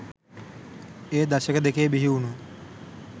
ඒ දශක දෙකේ බිහිවුනු